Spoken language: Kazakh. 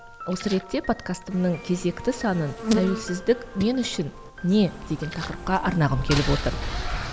осы ретте подкастымның кезекті санын тәуелсіздік мен үшін не деген тақырыпқа арнағым келіп отыр